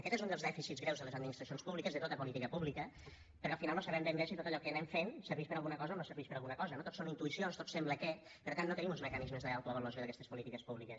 aquest és un dels dèficits greus de les administracions públiques de tota política pública perquè al final no sabem ben bé si tot allò que anem fent serveix per a alguna o no serveix per a alguna cosa no tot són intuïcions tot sembla que per tant no tenim uns mecanismes d’autoavaluació d’aquestes polítiques públiques